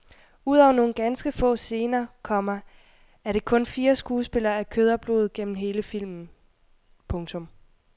Udover nogle ganske få scener, komma er det kun fire skuespillere af kød og blod gennem hele filmen. punktum